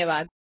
धन्यवाद